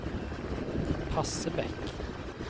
Passebekk